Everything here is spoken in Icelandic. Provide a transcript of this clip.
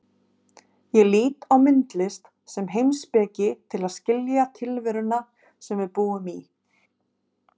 Ég lít á myndlist sem heimspeki til að skilja tilveruna sem við búum í.